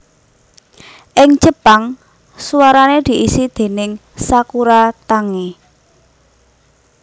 Ing Jepang suarane diisi déning Sakura Tange